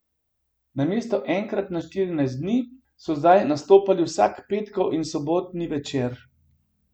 Namesto enkrat na štirinajst dni so zdaj nastopali vsak petkov in sobotni večer.